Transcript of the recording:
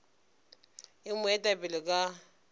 e mo eta pele ka